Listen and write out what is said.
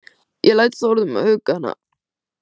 Ég læt Þórð um að hugga hana.